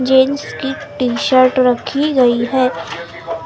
Jeans T shirt रखी गई है।